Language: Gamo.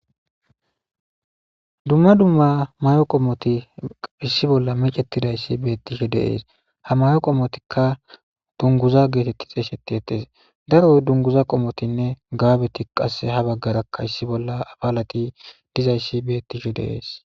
dumma dumma mayo qommoti issi bolla mecetidayssi beettishe deees ha mayo qommotikka dunguza geetetti xeesheti ettes daroy dunguza qomotinne gaabeti qasse ha baggarakka issi bolla afalati dizayssi beettishe de7es